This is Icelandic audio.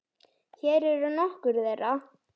Hér eru nokkur þeirra.